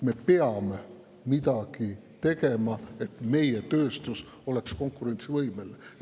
Me peame midagi tegema, et meie tööstus oleks konkurentsivõimeline.